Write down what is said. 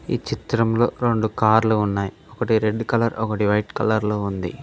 ఈ చిత్రంలో రెండు కార్లు ఉన్నాయి ఒకటి రెడ్ కలర్ ఒకటి వైట్ కలర్ లో ఉంది.